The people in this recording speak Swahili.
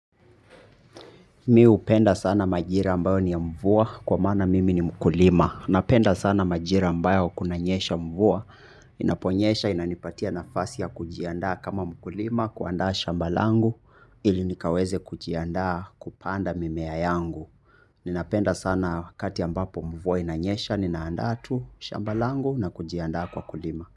Mi hupenda sana majira ambayo ni ya mvua kwa maana mimi ni mkulima. Napenda sana majira ambayo kunanyesha mvua, inaponyesha, inanipatia nafasi ya kujiandaa kama mkulima, kuandaa shamba langu, ili nikaweze kujiandaa kupanda mimea yangu. Ninapenda sana kati ambapo mvua inanyesha, ninaandaa tu shamba langu na kujiandaa kwa kulima.